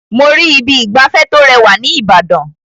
Mo rí Ibi ìgbafẹ́ tó rẹwà ní Ìbàdàn.